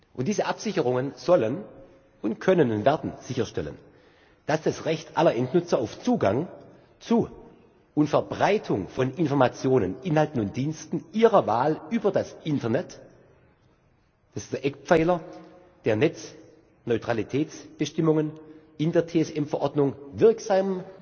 Und diese Absicherungen sollen und können und werden sicherstellen, dass das Recht aller Endnutzer auf Zugang zu und Verbreitung von Informationen, Inhalten und Diensten ihrer Wahl über das Internet das ist der Eckpfeiler der Netzneutralitätsbestimmungen in der TSM Verordnung wirksam